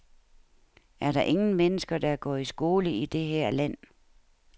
Er der ingen mennesker, der går i skole i det her land?